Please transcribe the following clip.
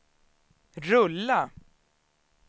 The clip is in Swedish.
rulla